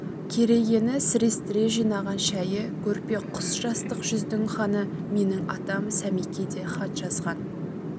керегені сірестіре жинаған шәйі көрпе құс жастық жүздің ханы менің атам сәмеке де хат жазған